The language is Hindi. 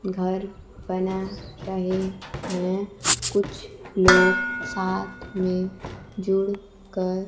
घर बना रहे है कुछ लोग साथ में जुड़कर।